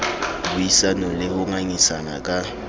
buisanang le ho ngangisana ka